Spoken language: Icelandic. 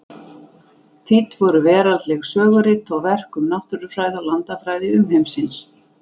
Þýdd voru veraldleg sögurit og verk um náttúrufræði og landafræði umheimsins.